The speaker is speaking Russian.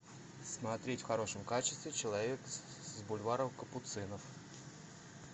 смотреть в хорошем качестве человек с бульвара капуцинов